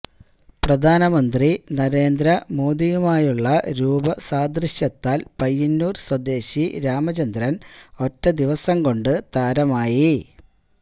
പ്രധാനമന്ത്രി നരേന്ദ്ര മോഡിയുമായുള്ള രൂപ സാദൃശ്യത്താൽ പയ്യന്നൂർ സ്വദേശി രാമചന്ദ്രൻ ഒറ്റ ദിവസം കൊണ്ട് താരമായി